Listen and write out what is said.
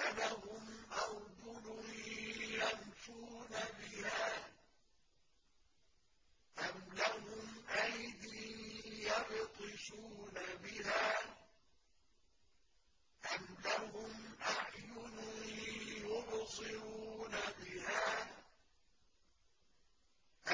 أَلَهُمْ أَرْجُلٌ يَمْشُونَ بِهَا ۖ أَمْ لَهُمْ أَيْدٍ يَبْطِشُونَ بِهَا ۖ أَمْ لَهُمْ أَعْيُنٌ يُبْصِرُونَ بِهَا ۖ